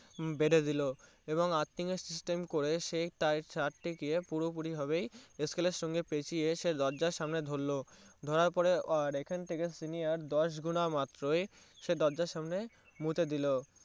বেঁধে দিলো এবং Earthin system করে সে সেই তে গিয়ে পুরো পুরি হবেই এস্কেলের শোনছে পেঁচিয়ে সে দরজার সামনে ধরো ধরার পরে আর এখন থেকে Senior দশ গোনা মাত্রই সে দরজার সামনে মুকুটে দিলো